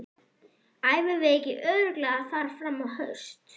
Æfum við ekki örugglega þar fram á haust?